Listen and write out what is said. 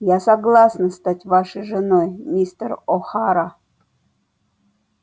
я согласна стать вашей женой мистер охара